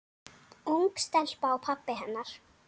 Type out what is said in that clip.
Ung stelpa og pabbi hennar.